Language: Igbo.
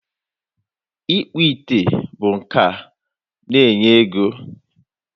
Ịkpụ ite bụ nka na-enye ego.